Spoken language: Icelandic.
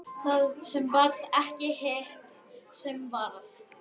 Það sem varð ekki og hitt sem varð